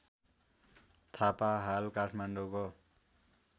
थापा हाल काठमाडौँको